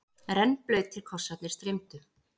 Rennblautir kossarnir streymdu.